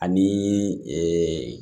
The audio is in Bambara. Ani